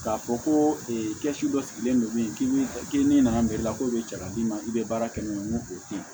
K'a fɔ ko kɛsu dɔ sigilen don min k'i ni nana i la k'o bɛ cɛ ka d'i ma i bɛ baara kɛ n'o ye n ko o tɛ yen